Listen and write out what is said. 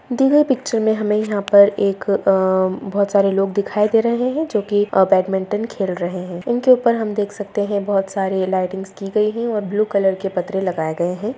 दी गई पिक्चर में हमें यहाँ पर एक अ बहुत सारे लोग दिखाई दे रहें हैं जो की अ बैडमिंटन खेल रहें हैं। इनके ऊपर हम देख सकते हैं बहुत सारी लाइटिंग्स की गई है और ब्लू कलर के पत्रे लगाए गए हैं।